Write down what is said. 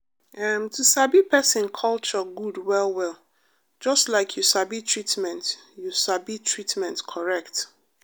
em to sabi person culture good well well just like you sabi treatment you sabi treatment correct.